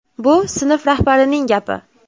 Bu sinf rahbarining gapi.